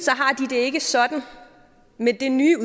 har ikke sådan med det nye